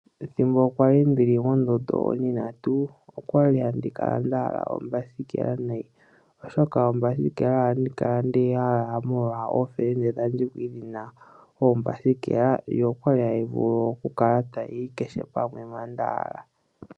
Ethimbo kwa li ndili mondondo ontintatu, okwa li handi kala nda hala ombasikela nayi. Oshoka oombasikela ohandi kala ndeyi hala molwa ofelende dhandje dha li dhi na oombasikela, yo okwa li hayi kala tayi vulu okuya kehe pamwe mpoka nda hala.